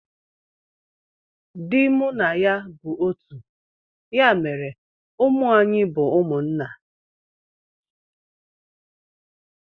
Dị mụ na ya bụ otu ya mere ụmụ anyị bu umunna